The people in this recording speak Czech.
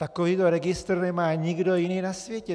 Takovýto registr nemá nikdo jiný na světě.